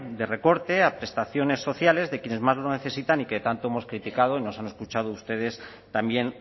de recorte a prestaciones sociales de quienes más lo necesitan y que tanto hemos criticado y nos han escuchado ustedes también